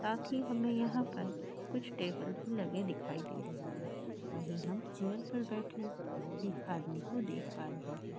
साथ ही हमे यहा पर कुछ टेबल बी रखे दिखाई दे रहे है वही हम चेयर पर बेठे एक आदमी को देख पा रहे है।